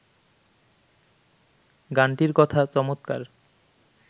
গানটির কথা চমৎকার